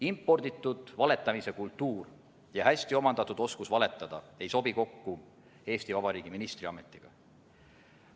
Imporditud valetamise kultuur ja hästi omandatud oskus valetada ei sobi kokku Eesti Vabariigi ministri ametiga.